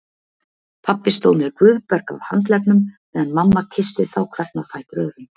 Pabbi stóð með Guðberg á handleggnum meðan mamma kyssti þá hvern á fætur öðrum.